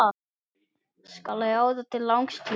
Skal ráða til langs tíma?